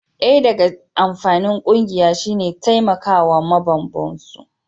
daya daga amfanin kungiya shi ne taimakawa ma mambobin su